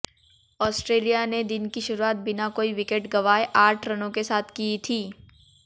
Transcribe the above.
Australia ने दिन की शुरुआत बिना कोई विकेट गंवाए आठ रनों के साथ की थी